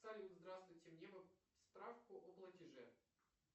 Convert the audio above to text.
салют здравствуйте где справку о платеже